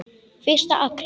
Fyrsta apríl.